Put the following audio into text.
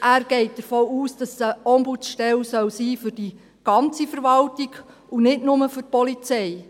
Er geht davon aus, dass es eine Ombudsstelle für die ganze Verwaltung sein soll und nicht nur für die Polizei.